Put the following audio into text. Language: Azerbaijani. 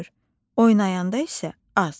Oynayanda isə az.